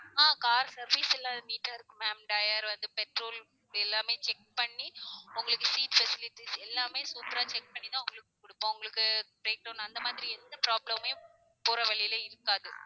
ஆஹ் car service எல்லாம் neat ஆ இருக்கும் ma'am tire வந்து petrol எல்லாமே check பண்ணி உங்களுக்கு seat facilities எல்லாமே super ஆ check பண்ணிதான் உங்களுக்கு கொடுப்போம். உங்களுக்கு break down அந்த மாதிரி எந்த problem மே போற வழியில இருக்காது